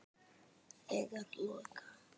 Þegar loka